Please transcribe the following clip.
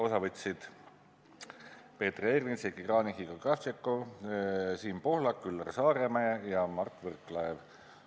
Osa võtsid Peeter Ernits, Heiki Kranich, Igor Kravtšenko, Siim Pohlak, Üllar Saaremäe ja Mart Võrklaev.